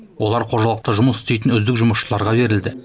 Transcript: олар қожалықта жұмыс істейтін үздік жұмысшыларға берілді